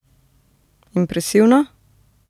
Impresivno?